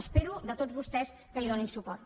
espero de tots vostès que hi donin suport